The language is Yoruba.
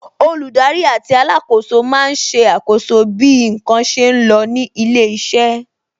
Olùdarí àti alákòóso máa ń ṣe àkọ́so bí n kan ṣe lọ ní ilé iṣẹ́